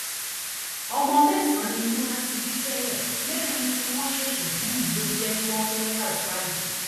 ọmọ mẹsànán ni nura ti bí tẹlẹ mẹrin tí wọn ṣẹṣẹ bí yìí ló jẹ kí wọn pé mẹtàlá báyìí